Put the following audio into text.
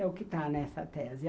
É o que está nessa tese.